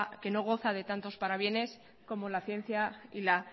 que no goza de tantos parabienes como la ciencia y la